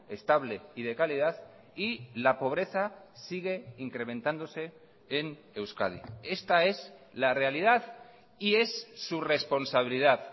estable y de calidad y la pobreza sigue incrementándose en euskadi esta es la realidad y es su responsabilidad